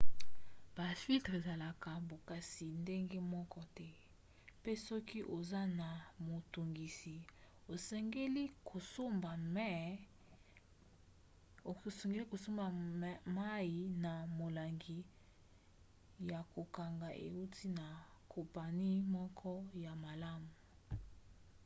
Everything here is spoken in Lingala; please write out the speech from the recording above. bafiltre ezalaka bokasi ndenge moko te mpe soki oza na motungisi osengeli kosomba mai na molangi ya kokanga euti na kompani moko ya malamu